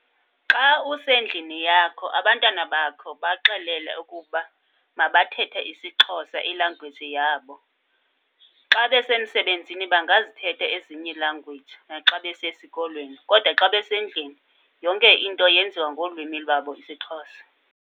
Xa usendlini yakho abantwana bakho baxelele ukuba mabathethe isiXhosa, ilangweji yabo. Xa besemsebenzini bangazithetha ezinye iilangweji naxa besesikolweni, kodwa xa besendlini yonke into yenziwa ngolwimi lwabo isiXhosa.